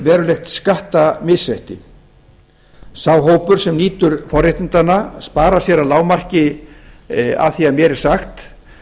verulegt skattamisrétti sá hópur sem nýtur forréttindanna sparar sér að lágmarki að því er mér er sagt